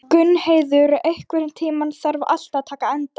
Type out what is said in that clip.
Gunnheiður, einhvern tímann þarf allt að taka enda.